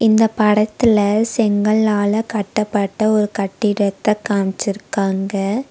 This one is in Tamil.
இந்தப் படத்துல செங்கலால கட்டப்பட்ட ஒரு கட்டிடத்த காம்ச்சிருக்காங்க.